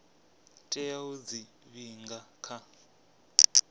tea u dzi vhiga kha